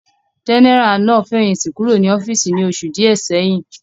Jẹ́nẹ́rà náà fẹ̀yìntì kúrò ní ọ́fíìsì ní oṣù díẹ̀ sẹ́yìn